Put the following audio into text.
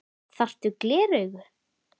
Þarftu gleraugu?